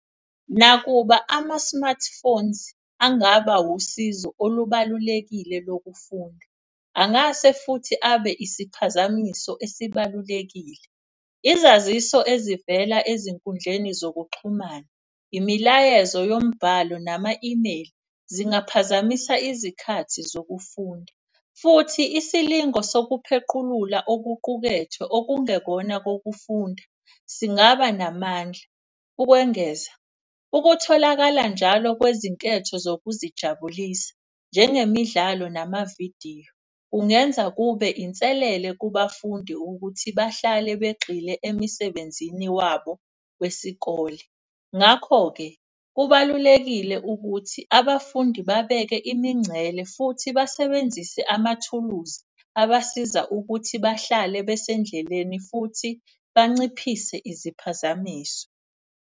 Nakuba ama-smartphones angaba usizo olubalulekile lokufunda, angase futhi abe isiphazamiso esibalulekile. Izaziso ezivela ezinkundleni zokuxhumana, imilayezo yombhalo nama-imeyili zingaphazamisa izikhathi zokufunda. Futhi isilingo sokuphequlula okuqukethwe okungekona kokufunda singaba namandla. Ukwengeza, ukutholakala njalo kwezinketho zokuzijabulisa njengemidlalo namavidiyo. Kungenza kube inselele kubafundi ukuthi bahlale begxile emsebenzini wabo wesikole. Ngakho-ke kubalulekile ukuthi abafundi babeke imincele futhi basebenzise amathuluzi abasiza ukuthi bahlale basendleleni. Futhi banciphise iziphazamiso.